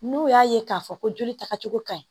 N'o y'a ye k'a fɔ ko joli tagacogo ka ɲi